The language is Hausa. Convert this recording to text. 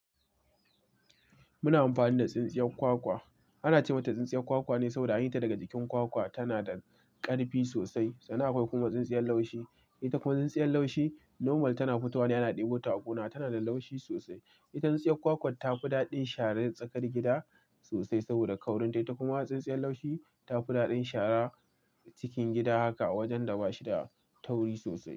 Muna amfani da tsintsiyar kwakwa. Ana ce mata tsintsiyar kwakwa ne saboda an yi ta daga jikin kwakwa. Tana da ƙarfi sosai. Sannan akwai kuma tsintsiyar laushi. Ita kuma tsintsiyar laushi normal tana fitowa ne ana ɗebo ta a gona. Tana da laushi sosai. Ita tsintsiyar kwakwar ta fi daɗin sharar tsakar gida sosai saboda kaurin ta. Kuma tsintsiyar laushi ta fi daɗin shara cikin gida haka a wajen da ba shi da tauri sosai.